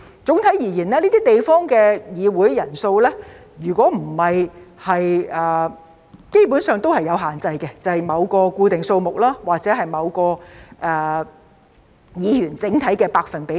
總體而言，這些地方的議會人數基本上也是有限制的，便是某個固定數目或議員整體數目的某個百分比等。